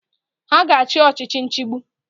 Ha ga-achị ọchichi nchigbu.